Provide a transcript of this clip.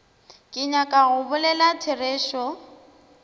ke nyaka go bolela therešo